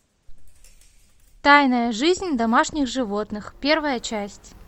тайная жизнь домашних животных первая часть